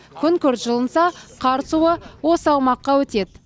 күн күрт жылынса қар суы осы аумаққа өтеді